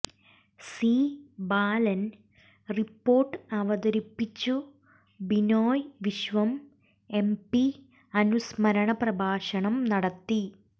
C Balan report അവതരിപ്പിച്ചു Binoy Viswam MP അനുസ്മരണ പ്രഭാഷണം നടത്തി